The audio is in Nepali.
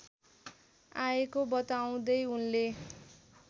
आएको बताउँदै उनले